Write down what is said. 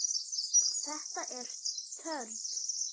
Þetta er törn.